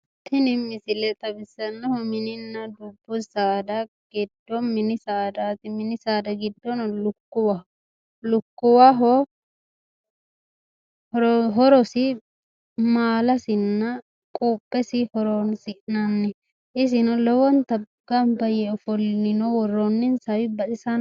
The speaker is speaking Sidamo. Tini misile xawissannohu mininna dubbu saada giddo mini saadaati. Mini saada giddono lukkuwwaho. Lukkuwaho horosi maalasinna quuphesi horoonsi'nanni. Isino lowonta gamba yee ofollino. Worroonninsawi baxisanno.